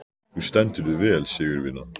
Þú stendur þig vel, Sigurvina!